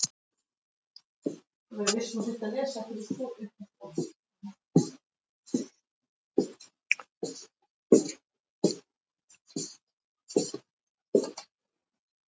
Það var sá hluti japönsku þjóðarinnar, sem Friðrik Jónsson kaus að bera saman við Indverja.